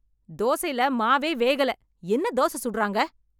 தோசைல மாவே வேகல, என்ன தோச சுடறாங்க?